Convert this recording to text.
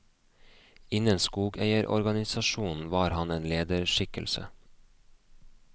Innen skogeierorganisasjonen var han en lederskikkelse.